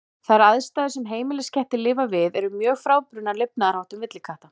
Þær aðstæður sem heimiliskettir lifa við eru mjög frábrugðnar lifnaðarháttum villikatta.